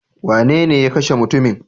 Wanene ya kashe mutumin?